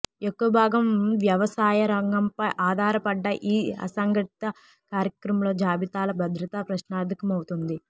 ఎక్కువ భాగం వ్యవ సాయరంగంపై ఆధారపడ్డ ఈ అసంఘటిత కార్మికుల జాబితాల భద్రత ప్రశ్నార్థకమవుతుంది